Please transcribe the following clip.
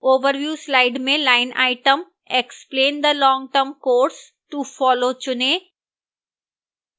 overview slide में line item explain the long term course to follow चुनें